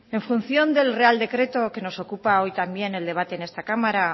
en función del real decreto que nos ocupa hoy también el debate en esta cámara